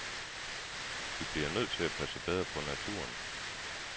Vi bliver nødt til at passe bedre på naturen.